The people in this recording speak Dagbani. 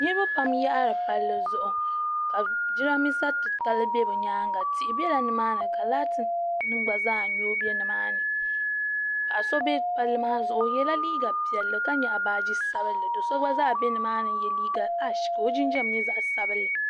niribapam yaɣiri palizuɣ' ka jarinibɛsa ti latali tihi bɛla ni maa ni ka mori bɛ ni maani paɣ' so bɛ pali maani o yɛla liga piɛli ka nyɛgi baaji sabinli do so gba zaa bɛni maa n so jinjam zaɣ' sabinli